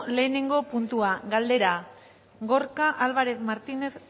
lehengo puntua galdera gorka álvarez martínez